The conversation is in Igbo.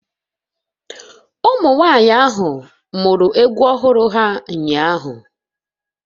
Ụmụnwaanyị ahụ muru egwu ọhụrụ ha ụnyahụ